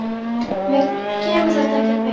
Mér kemur þetta ekkert við.